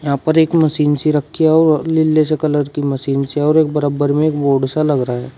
यहां पर एक मशीन सी रखी है और लीले से कलर की मशीन सी और एक बराबर में एक बोर्ड लग रहा है।